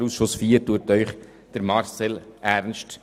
Der Ausschuss IV empfiehlt Ihnen Marcel Ernst.